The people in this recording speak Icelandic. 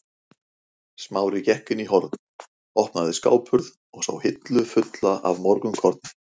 Smári gekk inn í horn, opnaði skáphurð og sá hillu fulla af morgunkorni.